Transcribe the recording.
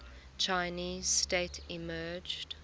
chinese state emerged